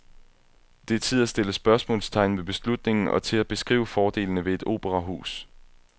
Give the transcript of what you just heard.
Det er tid at stille spørgsmålstegn ved beslutningen og til at beskrive fordelene ved et operahus.